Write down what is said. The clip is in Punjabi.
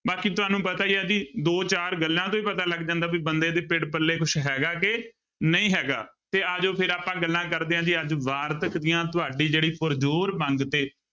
ਬਾਕੀ ਤੁਹਾਨੂੰ ਪਤਾ ਹੀ ਹੈ ਜੀ ਦੋ ਚਾਰ ਗੱਲਾਂ ਤੋਂ ਹੀ ਪਤਾ ਲੱਗ ਜਾਂਦਾ ਵੀ ਬੰਦੇ ਦੇ ਪੇਟ ਪੱਲੇ ਕੁਛ ਹੈਗਾ ਕਿ ਨਹੀਂ ਹੈਗਾ, ਤੇ ਆ ਜਾਓ ਫਿਰ ਆਪਾਂ ਗੱਲਾਂ ਕਰਦੇ ਹਾਂ ਜੀ ਅੱਜ ਵਾਰਤਕ ਦੀਆਂ ਤੁਹਾਡੀ ਜਿਹੜੀ ਪ੍ਰਜੋਰ ਮੰਗ ਤੇ